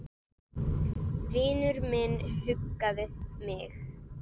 Vinur minn huggaði mig.